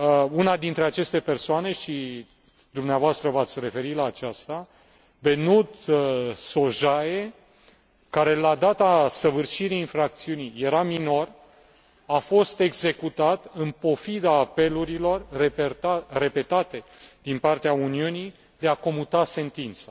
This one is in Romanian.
Una dintre aceste persoane și dumneavoastră v ați referit la aceasta, Behnoud Shojaee, care la data săvârșirii infracțiunii era minor, a fost executat în pofida apelurilor repetate din partea Uniunii de a comuta sentința.